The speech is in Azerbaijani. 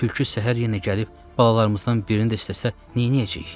Tülkü səhər yenə gəlib balalarımızdan birini də istəsə neynəyəcəyik?